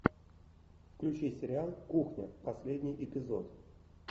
включи сериал кухня последний эпизод